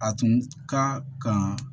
A tun ka kan